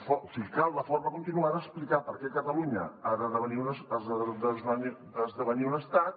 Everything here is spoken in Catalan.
o sigui cal de forma continuada explicar per què catalunya ha d’esdevenir un estat